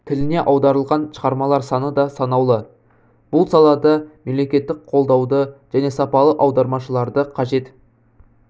тіліне аударылған шығармалар саны да санаулы бұл сала да мемлекеттік қолдауды және сапалы аудармашыларды қажет